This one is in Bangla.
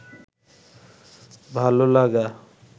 ভাল লাগা